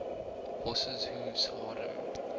horses hooves harden